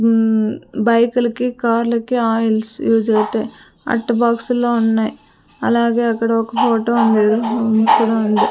ఉమ్ బైకులకి కార్లకి oils use అవుతాయి అట్ట బాక్సుల్లో ఉన్నాయి అలాగే అక్కడ ఒక ఫోటో ఉంది హుమ్ ఇక్కడ ఉంది.